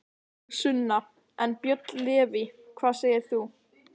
Sunna: En, Björn Leví, hvað segir þú?